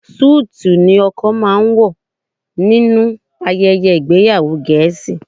Súùtù ni ọkọ máa ń wọ̀ nínú ayẹyẹ ìgbéyàwó Gẹ̀ẹ́sì